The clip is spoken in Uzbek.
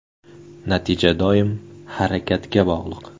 Natija doim harakatga bog‘liq.